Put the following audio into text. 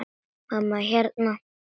Mamma, hérna.